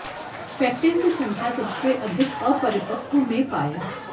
pectin की संख्या सबसे अधिक अपरिपक्व में पाया